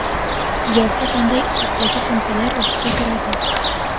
Yozda qanday uslubdagi sumkalar urfga kiradi?.